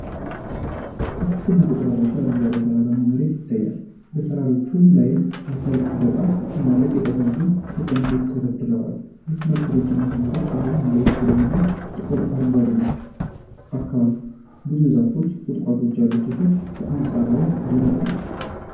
ከፍተኛ ቁጥር ያለው አረንጓዴ ተራራማ መሬት ይታያል። በተራሮች ላይ አፈር ጥበቃ ለማድረግ የተሰሩ እርከኖች ተደርድረዋል። እርከኖቹ ረጅም መስመሮች ሲሆኑ መሬቱ ቡናማና ጥቁር አረንጓዴ ነው። አካባቢው ብዙ ዛፎችና ቁጥቋጦዎች ያሉት ሲሆን በአንጻራዊነት ደረቅ ይመስላል።